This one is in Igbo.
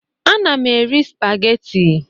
Ana m eri spageti